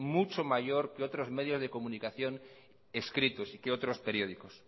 mucho mayor que otros medios de comunicación escritos y que otros periódicos